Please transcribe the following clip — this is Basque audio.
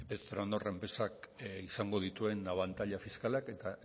izango dituen abantaila fiskalak eta